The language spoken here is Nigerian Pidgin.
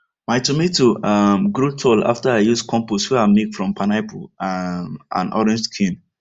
my tomato um grow tall after i use compost wey i make from pineapple um and orange skin